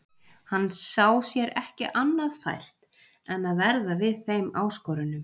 Hann sá sér ekki annað fært en að verða við þeim áskorunum.